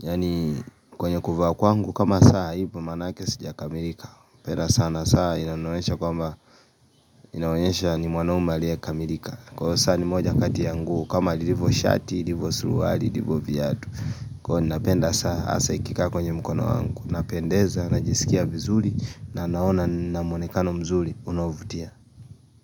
Yaani kwenye kuvaa kwangu kama saa haipoi maanake sijakamirika penda saa na saa inanionyesha kwamba inaonyesha ni mwaume aliye kamilika kwao saa ni moja katia nguo kama lilivo shati, lilivo suruari, lilivo vyatu kwao napenda saa, asa ikika kwenye mkono wangu Napendeza, najisikia vizuri na naona na mwonekano mzuri, unaovutia.